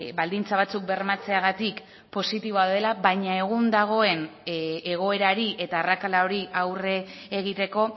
baldintza batzuk bermatzeagatik positiboa dela baina egun dagoen egoerari eta arrakala hori aurre egiteko